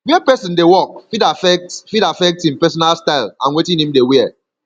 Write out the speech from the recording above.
where person dey work fit affect fit affect im personal style and wetin im dey wear